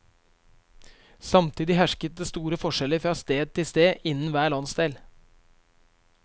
Samtidig hersket det store forskjeller fra sted til sted innen hver landsdel.